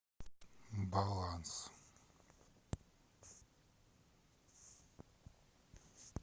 баланс